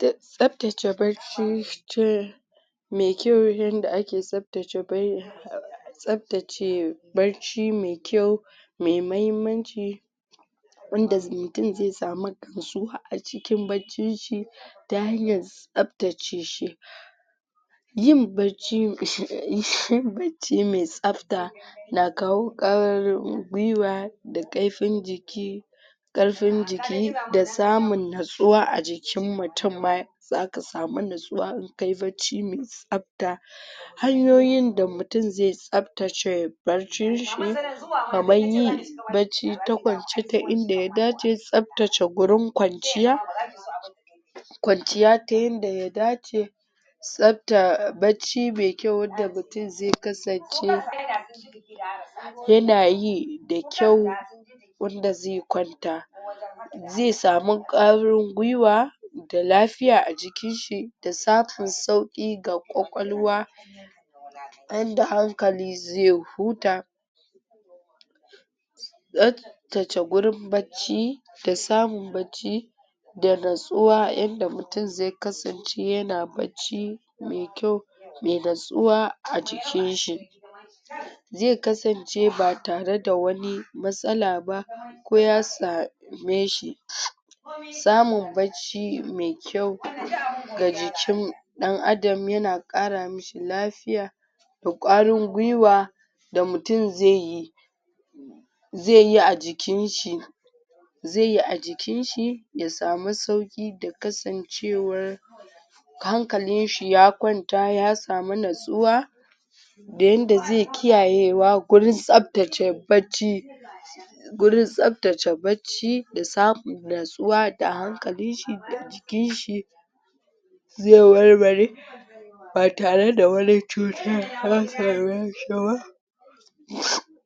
tsaftace barchi me kyau yanda ake tsaftace bar tsaftace barci me kyau me mahimmanci wanda mutum zai samu gamsuwa a cikin barcin shi ta hanyan tsaftace shi yin bacci mai shi yin bacci mai tsafta na kawo kwarin gwiwa da karfin jiki karfin jiki da samun natsuwa a jikin mutum ma zaka samu natsuwa in kayi barci mai tsafta hanyoyin da mutum zai tsaftace barcin shi kamar yin barci ta kwance ta inda ya dace tsaftace gurin kwanciya kwanciya ta yanda ya dace tsafta barci mai kyau wanda mutum zai kasance yanayi da kyau wanda zai kwanta zai samu kwarin gwiwa da lafiya a jikin shi da samun sauƙi ga kwakwalwa yanda hankali zai huta tsaftace gurin bacci da samun bacci da natsuwa yanda mutum zai kasance yana bacci mai kyau mai natsuwa a jikin shi zai kasance ba tare da wani matsala ba ko ya same shi samun bacci mai kyau ga jikin ɗan adam yana ƙara mashi lafiya da kwarin gwiwa da mutum zaiyi zaiyi a jikin shi zaiyi a jikin shi ya samu sauƙi da kasancewar hankalin shi ya kwanta ya samu natsuwa da yanda zai kiyayewa gurin tsaftace barci gurin tsaftace barci da samu natsuwa da hankalin shi da jikin shi zai warware ba tare da wani cutarwa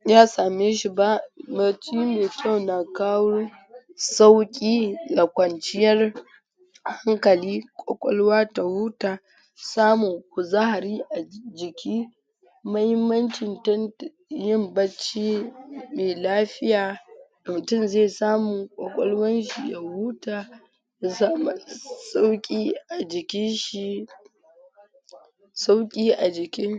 ya same shi ba. barsci mai kyau na kawo sauƙi da kwanciyar hankali kwakwalwa ta huta samun kuzari a jiki mahimmancin tantan yin bacci me lafiya mutum zai samu kwakwalwan shi ya huta ya samu sauƙi a jikin shi sauƙi a jikin